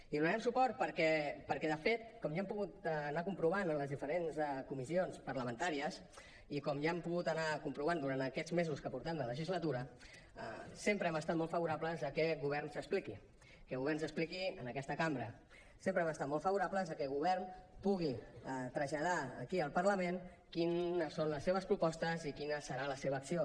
hi donarem suport perquè de fet com ja han pogut anar comprovant en les diferents comissions parlamentàries i com ja han pogut anar comprovant durant aquests mesos que portem de legislatura sempre hem estat molt favorables a que el govern s’expliqui que el govern s’expliqui en aquesta cambra sempre hem estat molt favorables a que el govern pugui traslladar aquí al parlament quines són les seves propostes i quina serà la seva acció